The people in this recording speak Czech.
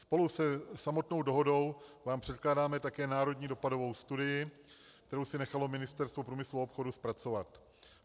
Spolu se samotnou dohodou vám předkládáme také národní dopadovou studii, kterou si nechalo Ministerstvo průmyslu a obchodu zpracovat.